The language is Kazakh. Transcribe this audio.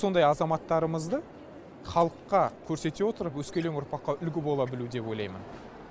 сондай азаматтарымызды халыққа көрсете отырып өскелең ұрпаққа үлгі бола білу деп ойлаймын